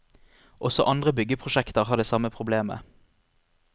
Også andre byggeprosjekter har det samme problemet.